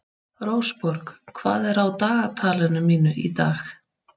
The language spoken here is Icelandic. Rósborg, hvað er á dagatalinu mínu í dag?